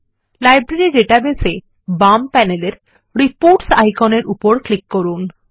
library database এ বাম প্যানেলের রিপোর্টস আইকন এর উপরক্লিক করুন